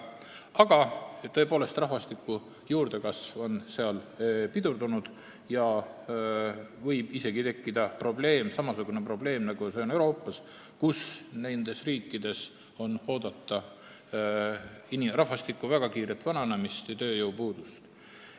Aga rahvastiku juurdekasv on seal tõepoolest pidurdunud ja seal võib isegi tekkida samasugune probleem nagu Euroopas, et nendes riikides on oodata rahvastiku väga kiiret vananemist ja tööjõupuudust.